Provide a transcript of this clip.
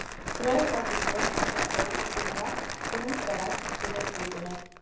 Draugahúsið var óhugnanlega draugalegt í rigningunni.